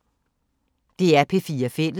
DR P4 Fælles